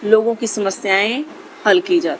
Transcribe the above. लोगों की समस्याएं हल की जा।